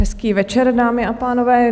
Hezký večer, dámy a pánové.